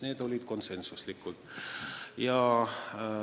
Need olid konsensuslikud otsused.